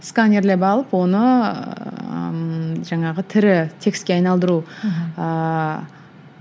сканерлеп алып оны ммм жаңағы тірі текстке айналдыру ыыы